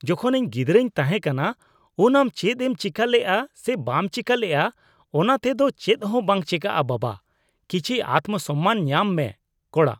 ᱡᱚᱠᱷᱚᱱ ᱤᱧ ᱜᱤᱫᱽᱨᱟᱹᱧ ᱛᱟᱦᱮᱸᱠᱟᱱᱟ ᱩᱱ ᱟᱢ ᱪᱮᱫ ᱮᱢ ᱪᱤᱠᱟᱹ ᱞᱮᱜᱼᱟ ᱥᱮ ᱵᱟᱢ ᱪᱤᱠᱟᱹᱞᱮᱜᱼᱟ ᱚᱱᱟᱛᱮ ᱫᱚ ᱪᱮᱫᱦᱚᱸ ᱵᱟᱝ ᱪᱮᱠᱟᱜᱼᱟ ᱵᱟᱵᱟ᱾ ᱠᱤᱪᱷᱤ ᱟᱛᱢᱚᱼᱥᱚᱢᱢᱟᱱ ᱧᱟᱢ ᱢᱮ (ᱠᱚᱲᱟ)